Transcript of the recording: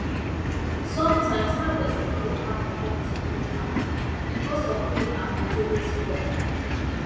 sometimes harvest no dey happen wen e suppose happen becos of rain and moto wey spoil